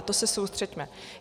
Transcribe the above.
Na to se soustřeďme.